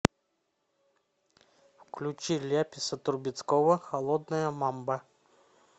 включи ляписа трубецкого холодная мамба